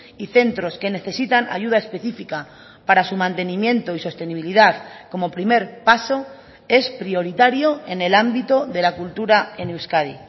y centros que necesitan ayuda específica para su mantenimiento y sostenibilidad como primer paso es prioritario en el ámbito de la cultura en euskadi